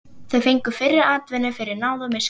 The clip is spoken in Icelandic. Þau fengu fyrri atvinnu fyrir náð og miskunn.